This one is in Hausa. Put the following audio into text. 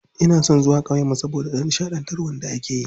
Ina son zuwa ƙauyen mu saboda nishaɗantarwar da akeyi.